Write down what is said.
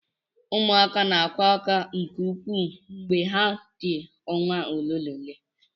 Ụmụaka na akwa ákwá nke ukwuu mgbe ha dị ọnwa ole na ole.